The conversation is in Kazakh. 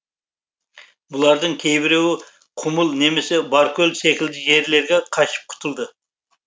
бұлардың кейбіреуі құмыл немесе баркөл секілді жерлерге қашып құтылды